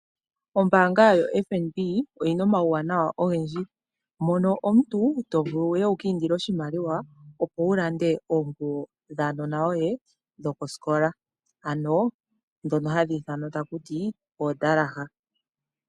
Ombaanga yotango yopashiwana, oyina omauwanawa ogendji. Mono omuntu tovulu uye uka hehele oshimaliwa, opo wulande oonguwo dhaanona yoye dhokosikola. Ano dhono hadhi ithanwa taku ti omizalo dhosikola.